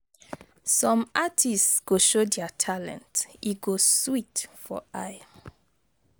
Some artist go show dia talent, e go sweet for eye.